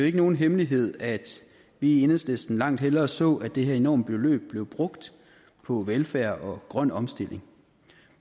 ikke nogen hemmelighed at vi i enhedslisten langt hellere så at det her enorme beløb blev brugt på velfærd og grøn omstilling